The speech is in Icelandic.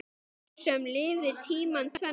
Maður sem lifði tímana tvenna.